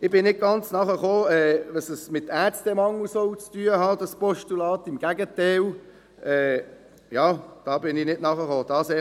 Ich habe nicht ganz verstanden, was das Postulat mit dem Ärztemangel zu tun hat, im Gegenteil, ich verstehe dies nicht.